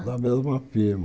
Na mesma firma.